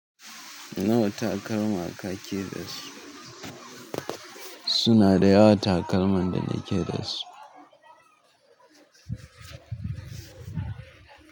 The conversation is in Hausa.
Nawa takalma ka kake da su? Suna da yawa takalman da na ke da su.